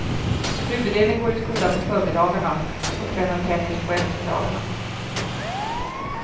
Huvuddelen går i skola på förmiddagarna och tränar tennis på eftermiddagarna.